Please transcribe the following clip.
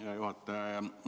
Hea juhataja!